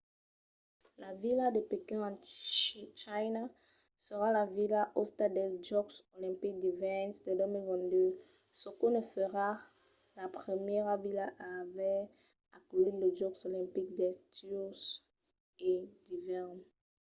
la vila de pequín en china serà la vila òsta dels jòcs olimpics d’ivèrn de 2022 çò que ne farà la primièra vila a aver aculhit los jòcs olimpics d’estiu e d’ivèrn